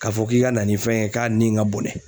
Ka fɔ k'i ka na ni fɛn ye k'a nin ka bɔnɛ